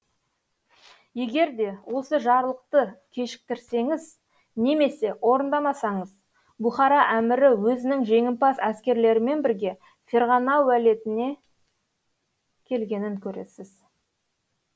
егер де осы жарлықты кешіктірсеңіз немесе орындамасаңыз бұхара әмірі өзінің жеңімпаз әскерлерімен бірге ферғана уәлиетіне келгенін көресіз